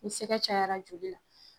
Ni sɛgɛ cayara joli la